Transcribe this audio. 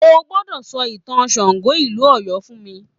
O gbọ́dọ̀ sọ ìtàn Ṣàngó ìlú Ọ̀yọ́ fún mi